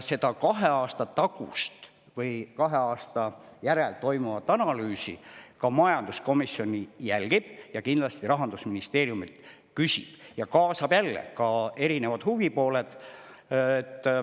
Seda kahe aasta järel toimuvat analüüsi majanduskomisjon jälgib, kindlasti küsib ka Rahandusministeeriumi arvamust ja kaasab jälle erinevad huvipooled.